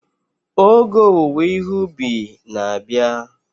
Oge owuwe ihe ubi na-abịa.